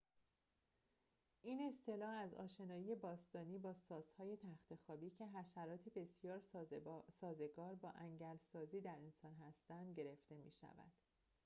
این اصطلاح از آشنایی باستانی با ساس‌های تخت‌خوابی که حشرات بسیار سازگار با انگل سازی در انسان هستند گرفته می شود